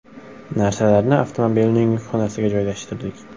Narsalarni avtomobilning yukxonasiga joylashtirdik.